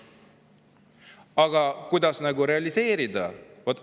Aga kuidas neid realiseerida?